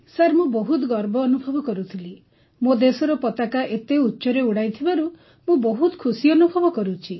sir ମୁଁ ବହୁତ ଗର୍ବ ଅନୁଭବ କରୁଥିଲି ମୋ ଦେଶର ପତାକାକୁ ଏତେ ଉଚ୍ଚରେ ଉଡ଼ାଇଥିବାରୁ ମୁଁ ବହୁତ ଖୁସି ଅନୁଭବ କରୁଛି